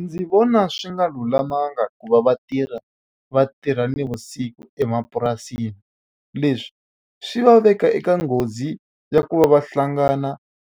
Ndzi vona swi nga lulamanga ku va vatirha va tirha navusiku emapurasini. Leswi swi va veka eka nghozi ya ku va va hlangana